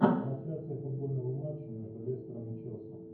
трансляция футбольного матча между лестером и челси